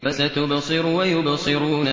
فَسَتُبْصِرُ وَيُبْصِرُونَ